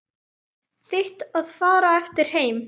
Þitt að fara eftir þeim.